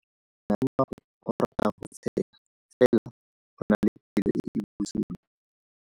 Malomagwe o rata go tshega fela o na le pelo e e bosula.